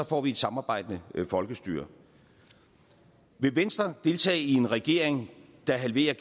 får vi et samarbejdende folkestyre vil venstre deltage i en regering der halverer